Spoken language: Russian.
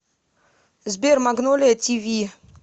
сбер магнолия ти ви